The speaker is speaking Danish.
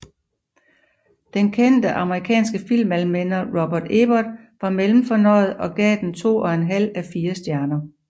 Den kende amerikanske filmanmelder Roger Ebert var mellemfornøjet og gav den to og en halv af fire stjerner